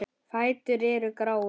Fætur eru gráir.